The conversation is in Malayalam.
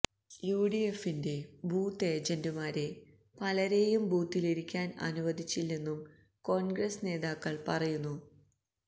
യുഡിഎഫിന്റെ ബൂത്ത് ഏജന്റുമാരെ പലരെയും ബൂത്തിലിരിക്കാൻ അനുവദിച്ചില്ലെന്നും കോൺഗ്രസ് നേതാക്കൾ പറയുന്നു